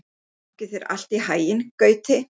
Gangi þér allt í haginn, Gauti.